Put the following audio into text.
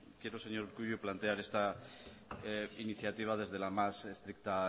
quiero señor urkullu plantear esta iniciativa desde la más estricta